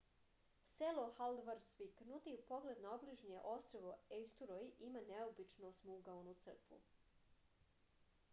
selo haldarsvik nudi pogled na obližnje ostrvo ejsturoj i ima neobičnu osmougaonu crkvu